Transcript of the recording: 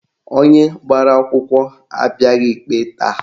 Onye agbara akwụkwọ abịaghị ikpe taa